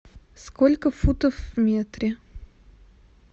сколько футов в метре